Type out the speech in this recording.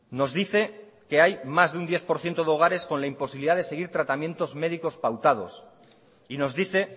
nos dice que hay más de un diez por ciento de hogares con la imposibilidad de seguir tratamientos médicos pautados y nos dice